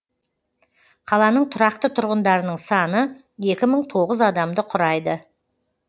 қаланың тұрақты тұрғындарының саны екі мың тоғыз адамды құрайды